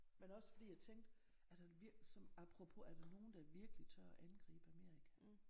Men også fordi jeg tænkte er der apropos er der nogen der virkeligt tør at angribe Amerika